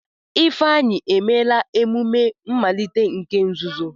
Ifeanyi emela emume mmalite nke nzuzo.